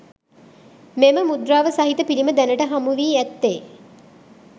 මෙම මුද්‍රාව සහිත පිළිම දැනට හමු වී ඇත්තේ